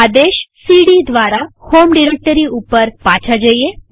આદેશ સીડી દ્વારા home directory ઉપર પાછા જઈએ